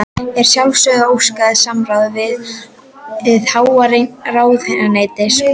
Er að sjálfsögðu óskað samráðs við hið háa ráðuneyti og